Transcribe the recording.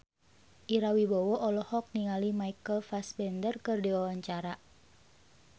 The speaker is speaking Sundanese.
Ira Wibowo olohok ningali Michael Fassbender keur diwawancara